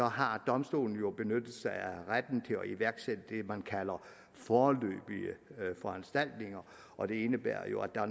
har domstolen jo benyttet sig af retten til at iværksætte det man kalder foreløbige foranstaltninger og det indebærer jo at